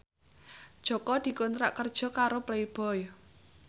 Jaka dikontrak kerja karo Playboy